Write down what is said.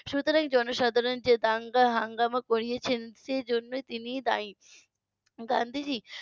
সুতরাং জনসাধারণ যে দাঙ্গা হাঙ্গামা করিয়াছে সেই জন্য তিনিই দায়ী